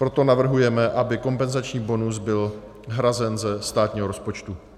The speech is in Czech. Proto navrhujeme, aby kompenzační bonus byl hrazen ze státního rozpočtu.